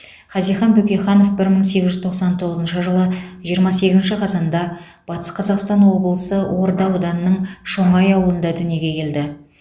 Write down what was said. хазихан бөкейханов бір мың сегіз жүз тоқсан тоғызыншы жылы жиырма сегізінші қазанда батыс қазақстан облысы орда ауданының шоңай ауылында дүниеге келді